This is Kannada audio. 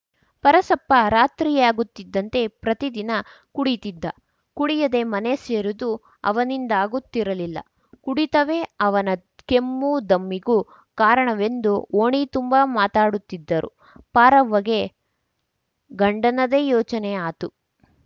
ಪರಸಪ್ಪ ರಾತ್ರಿಯಾಗುತ್ತಿದ್ದಂತೆ ಪ್ರತಿ ದಿನ ಕುಡಿತಿದ್ದ ಕುಡಿಯದೆ ಮನೆ ಸೇರುದು ಅವನಿಂದಾಗುತ್ತಿರಲಿಲ್ಲ ಕುಡಿತವೇ ಅವನ ಕೆಮ್ಮು ದಮ್ಮಿಗೂ ಕಾರಣವೆಂದು ಓಣಿ ತುಂಬಾ ಮಾತಾಡುತ್ತಿದ್ದರು ಪಾರವ್ವ ಗ ಗಂಡನದೇ ಯೋಚನೆ ಆತು